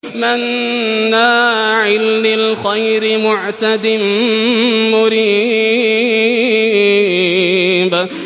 مَّنَّاعٍ لِّلْخَيْرِ مُعْتَدٍ مُّرِيبٍ